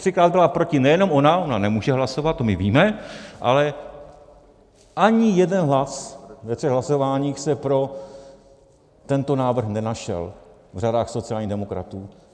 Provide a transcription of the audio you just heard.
Třikrát byla proti nejenom ona, ona nemůže hlasovat, to my víme, ale ani jeden hlas ve třech hlasováních se pro tento návrh nenašel v řadách sociálních demokratů.